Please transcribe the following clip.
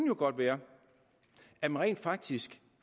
godt være at man rent faktisk